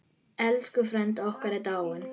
Elsku frændi okkar er dáinn.